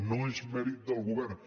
no és mèrit del govern